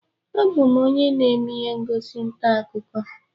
Abụ m onye na-eme ihe ngosi ntaakụkọ